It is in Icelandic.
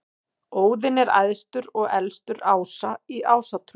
Óðinn er æðstur og elstur ása í Ásatrú.